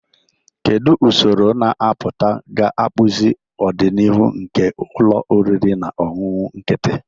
Kedu usoro na-apụta ga-akpụzi ọdịnihu nke ụlọ oriri na ọṅụṅụ nkịtị?